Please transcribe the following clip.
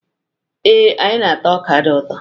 Ee, anyị na-ata ọ́kà dị ụtọ.